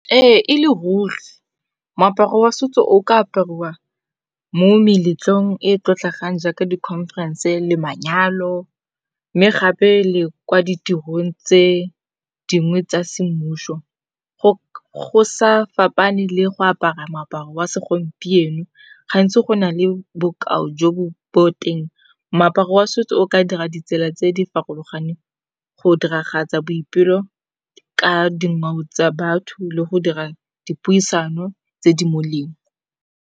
Ee e le ruri, moaparo wa setso o ka apariwa mo meletlong e e tlotlegang jaaka di khonferense le manyalo. Mme gape le kwa ditirong tse dingwe tsa semmuso, go sa fapaneng le go apara moaparo wa segompieno. Gantsi go na le bokao jo bo bo teng moaparo wa setso o ka dira ditsela tse di farologaneng go diragatsa boipelo ka dingwao tsa batho le go dira dipuisano tse di molemo.